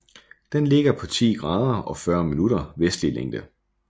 Den ligger på 10 grader og 40 minutter vestlig længde